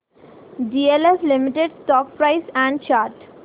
DLF limited stock price and chart